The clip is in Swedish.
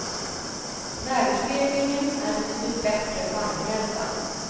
Värdestegringen är betydligt bättre än bankräntan.